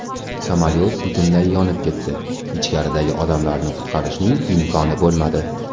Samolyot butunlay yonib ketdi, ichkaridagi odamlarni qutqarishning imkoni bo‘lmadi.